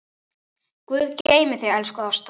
Guð geymi þig, elsku Ásta.